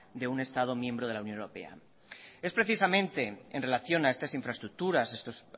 de un estado miembro de la unión europea es precisamente en relación a estas infraestructuras